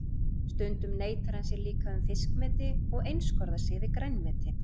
Stundum neitar hann sér líka um fiskmeti og einskorðar sig við grænmeti.